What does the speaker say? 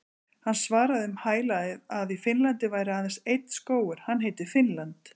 Hann svaraði um hæl að í Finnlandi væri aðeins einn skógur- hann heitir Finnland.